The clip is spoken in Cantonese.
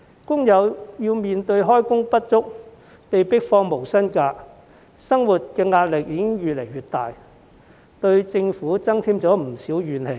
工友面對開工不足、被迫放取無薪假，生活壓力已越來越大，對政府增添不少怨氣。